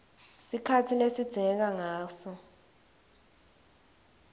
sikhatsi lesidzingeka ngaso